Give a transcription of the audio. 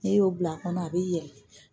N'i y'o bila a kɔnɔ a b'i yɛlɛ